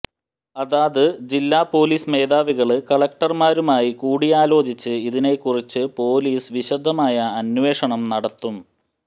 അതാത് ജില്ലാ പോലീസ് മേധാവികള് കളക്ടര്മാരുമായി കൂടിയാലോചിച്ച് ഇതിനെ കുറിച്ച് പോലീസ് വിശദമായ അന്വേഷണം നടത്തും